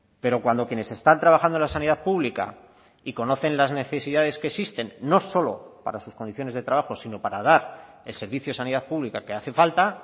pero cuando quienes están trabajando en la sanidad pública y conocen las necesidades que existen no solo para sus condiciones de trabajo sino para dar el servicio de sanidad pública que hace falta